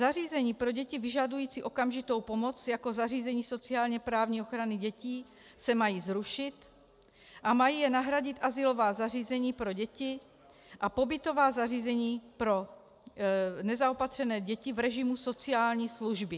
Zařízení pro děti vyžadující okamžitou pomoc jako zařízení sociálně-právní ochrany dětí se mají zrušit a mají je nahradit azylová zařízení pro děti a pobytová zařízení pro nezaopatřené děti v režimu sociální služby.